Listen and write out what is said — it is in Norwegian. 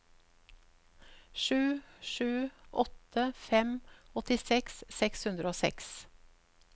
sju sju åtte fem åttiseks seks hundre og seks